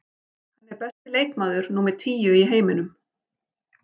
Hann er besti leikmaður númer tíu í heiminum.